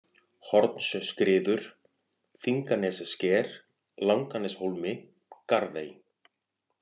Hornsskriður, Þinganessker, Langaneshólmi, Garðey